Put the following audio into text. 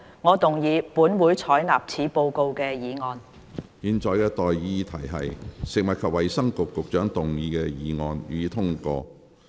我現在向各位提出的待議議題是：食物及衞生局局長動議的議案，予以通過。